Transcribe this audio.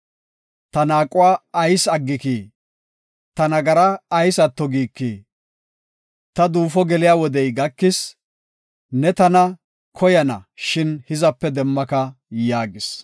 Ta naaquwa ayis aggikii? Ta nagara ayis atto giikii? Ta duufo geliya wodey gakis; ne tana koyana, shin hizape demmaka” yaagis.